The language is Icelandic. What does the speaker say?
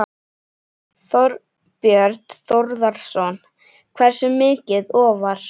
Þorbjörn Þórðarson: Hversu mikið ofar?